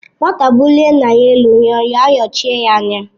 Nwata bulie nna ya elu, nnyọnyọ ayọchie ya anya